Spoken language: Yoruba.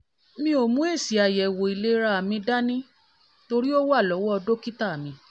mi ò mú èsì-àyẹ̀wò-ìlera mi dání torí ó wà lọ́wọ́ dọ́kítà mi